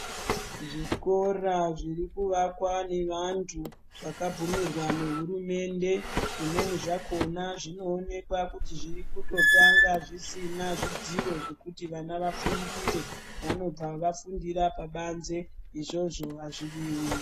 Zvikora zviri kuvakwa nevantu vakabvumirwa nehurumende zvimweni zvakona zvinoonekwa kuti zviri kutotanga zvisina zvidziro zvekuti vana vafundire. Vanobva vafundira pabanze. Izvozvo hazvidiwi.